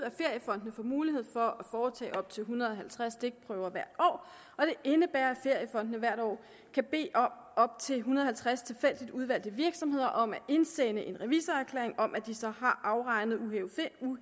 at feriefondene får mulighed for at foretage op til en hundrede og halvtreds stikprøver hvert år og det indebærer at feriefondene hvert år kan bede op til en hundrede og halvtreds tilfældigt udvalgte virksomheder om at indsende en revisorerklæring om at de så har afregnet uhævede